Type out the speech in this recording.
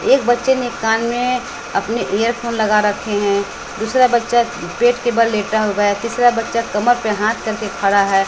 एक बच्चे ने कान में अपने ईयर फोन लगा रखे हैं दूसरा बच्चा पेट के बल लेटा हुआ है तीसरा बच्चा कमर पे हाथ करके खड़ा है।